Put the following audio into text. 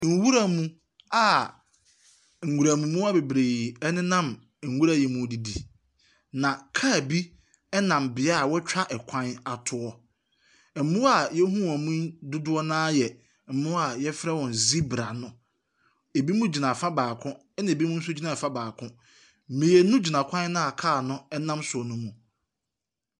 Nwura mu a nwuram mmoa bebree nenam nwura yi mu redidi, na kaa bi nam bea a wɔatwa kwan ato. Mmoa a yɛhunu wɔn yi dodoɔ no ara yɛ mmoa a wɔfrɛ wɔn zebra no. binom gyina afa baako, ɛna ɛbinom nso gyina afa baako. Mmeinu gyina kwan no a kaa no nam so no mu.